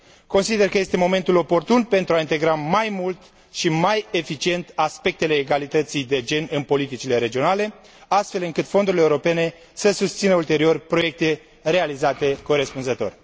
Consider că este momentul oportun pentru a integra mai mult și mai eficient aspectele egalității de gen în politicile regionale, astfel încât fondurile europene să susțină ulterior proiecte realizate corespunzător.